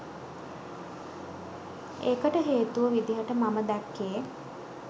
ඒකට හේතුව විදිහට මම දැක්කේ